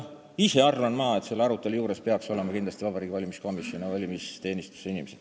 Ma ise arvan, et selle arutelu juures peaks olema kindlasti ka kahe kompetentse kogu ehk Vabariigi Valimiskomisjoni ja valimisteenistuse inimesed.